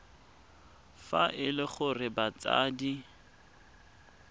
fa e le gore batsadi